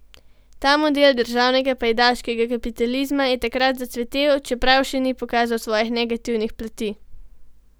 Ta model državnega, pajdaškega kapitalizma je takrat zacvetel, čeprav še ni pokazal svojih negativnih plati.